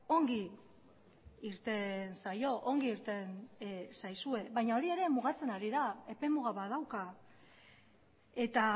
ongi irten zaio ongi irten zaizue baina hori ere mugatzen ari da epe muga bat dauka eta